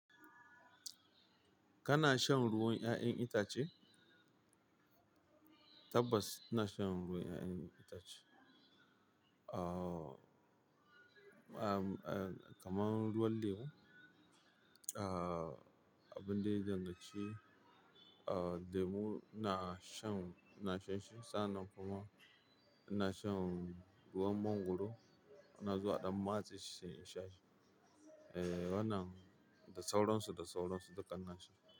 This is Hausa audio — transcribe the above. Kana shan ruwan 'ya'yan itace? Tabbas ina shan ruwan 'ya'yan itace. Ah, ah, kamar ruwan lemu, ah, abin da ya danganci, ah, lemu ina shan, ina shan shi. Sa'annan kuma ina shan ruwan mangwaro. Ina zuwa a ɗan matse shi sai in sha shi. Eh, wannan da sauransu, da sauransu duka ina sha.